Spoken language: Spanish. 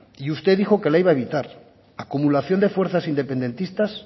y usted dijo que la iba a evitar acumulación de fuerzas independentistas